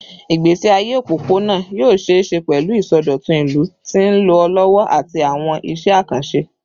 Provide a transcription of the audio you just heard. Igbesi aye opopona yoo ṣee ṣe pẹlu isọdọtun ilu ti nlọ lọwọ ati awọn iṣẹ akanṣe